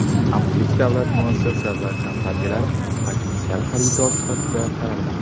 Amirlik davlat muassasa va kompaniyalari potensial xaridor sifatida qaralmoqda.